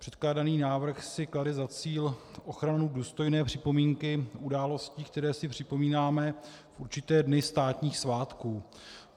Předkládaný návrh si klade za cíl ochranu důstojné připomínky událostí, které si připomínáme v určité dny státních svátků.